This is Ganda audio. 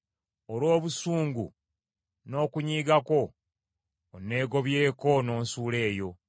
Olw’obusungu n’okunyiiga kwo; onneegobyeko n’onsuula eyo.